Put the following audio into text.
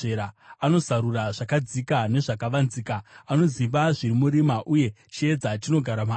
Anozarura zvakadzika nezvakavanzika; anoziva zviri murima, uye chiedza chinogara maari.